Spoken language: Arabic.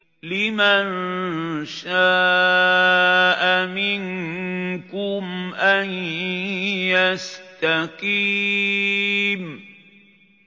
لِمَن شَاءَ مِنكُمْ أَن يَسْتَقِيمَ